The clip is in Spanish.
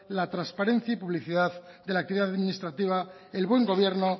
la transparencia y publicidad de la actividad administrativa el buen gobierno